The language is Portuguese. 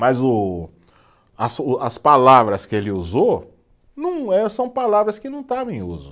Mas o as, o as palavras que ele usou, não é, são palavras que não estavam em uso.